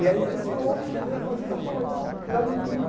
E aí você se ouve, você vê as batida, pô, mas está está limpinho.